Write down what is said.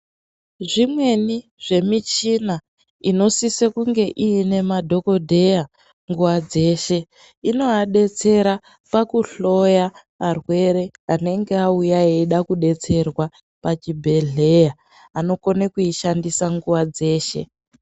Zvimweni zvemichina inosise kunge iine madhogodheya nguva dzeshe. Inovadetsera pakuhloya arwere anenge auya eida kudetserwa pazvibhehleya. Anokone kuishandisa nguva dzeshe.